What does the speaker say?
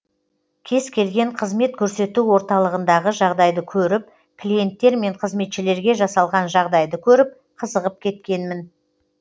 кез келген қызмет көрсету орталығындағы жағдайды көріп клиенттер мен қызметшілерге жасалған жағдайды көріп қызығып кеткенмін